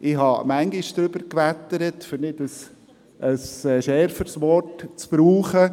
Ich habe oft darüber gewettert, um ein schärferes Wort zu verwenden.